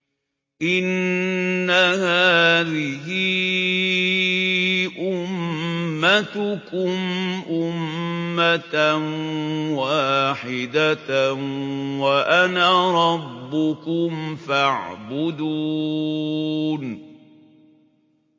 إِنَّ هَٰذِهِ أُمَّتُكُمْ أُمَّةً وَاحِدَةً وَأَنَا رَبُّكُمْ فَاعْبُدُونِ